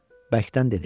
Bəkdən dedi: